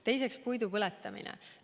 Teiseks, puidu põletamine.